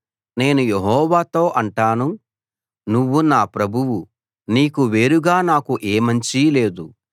నేను యెహోవాతో అంటాను నువ్వు నా ప్రభువు నీకు వేరుగా నాకు ఏ మంచీ లేదు